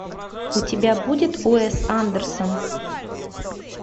у тебя будет уэс андерсон